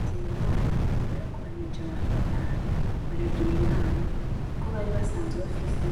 Nzeyimana yarakoranije abantu batanu aragira inama, kobari basanzwe bafise